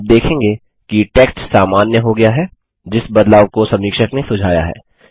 आप देखेंगे कि टेक्स्ट सामान्य हो गया है जिस बदलाव को समीक्षक ने सुझाया है